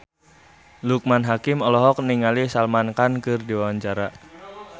Loekman Hakim olohok ningali Salman Khan keur diwawancara